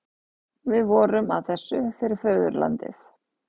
Við vorum að þessu fyrir föðurlandið.